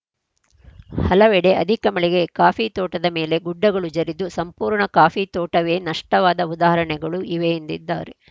ಹಲವೆಡೆ ಅಧಿಕ ಮಳೆಗೆ ಕಾಫಿ ತೋಟದ ಮೇಲೆ ಗುಡ್ಡಗಳು ಜರಿದು ಸಂಪೂರ್ಣ ಕಾಫಿ ತೋಟವೇ ನಷ್ಟವಾದ ಉದಾಹರಣೆಗಳು ಇವೆ ಎಂದಿದ್ದಾರೆ